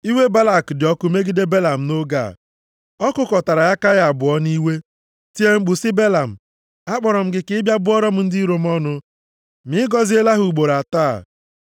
Iwe Balak dị ọkụ megide Belam nʼoge a. Ọ kụkọtara aka ya abụọ nʼiwe. Tie mkpu sị Belam, “Akpọrọ m gị ka ị bịa bụọrọ m ndị iro m ọnụ. Ma ị gọziela ha ugboro atọ a.